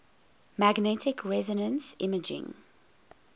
magnetic resonance imaging